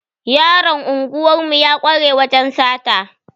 Yaron unguwar mu ya kware wajan sata